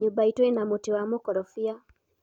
nyumba iitu ĩna muta wa mukorobia